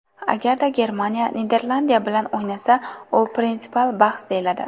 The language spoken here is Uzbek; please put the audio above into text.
Agarda Germaniya Niderlandiya bilan o‘ynasa, bu prinsipial bahs deyiladi.